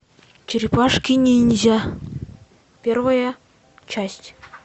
черепашки ниндзя первая часть